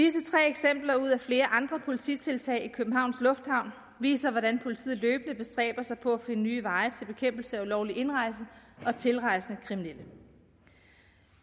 eksempler ud af flere andre polititiltag i københavns lufthavn viser hvordan politiet løbende bestræber sig på at finde nye veje til bekæmpelse af ulovlig indrejse og tilrejsende kriminelle